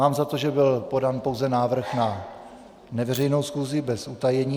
Mám za to, že byl podán pouze návrh na neveřejnou schůzi bez utajení.